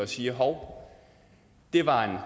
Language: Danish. siger hov det var